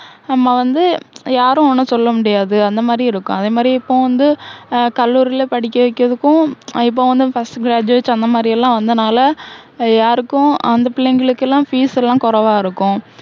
நம்ம வந்து, யாரும் ஒண்ணும் சொல்ல முடியாது. அந்த மாதிரி இருக்கும். அதே மாதிரி இப்போ வந்து ஹம் கல்லூரில படிக்க வைக்கிறதுக்கும், இப்போ வந்து first graduate அந்த மாதிரி எல்லாம் வந்தனால, யாருக்கும் அந்த புள்ளைங்களுக்கு எல்லாம் fees எல்லாம் கொறைவா இருக்கும்.